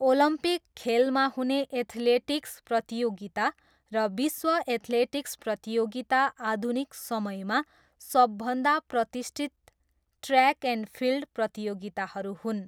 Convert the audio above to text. Olympic खेलमा हुने athletics प्रतियोगिता र विश्व एथलेटिक्स प्रतियोगिता आधुनिक समयमा सबभन्दा प्रतिष्ठित ट्रयाक एन्ड फिल्ड प्रतियोगिताहरू हुन्।